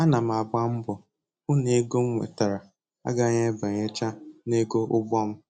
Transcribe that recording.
Ana m agba mbọ hụ nego m nwetara agaghị abanyecha nego ụgbọ m